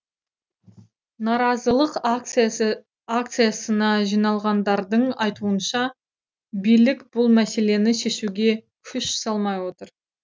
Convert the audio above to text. наразылық акциясы акциясына жиналғандардың айтуынша билік бұл мәселені шешуге күш салмай отыр